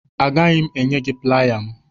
Agaghị m enye gị playa m.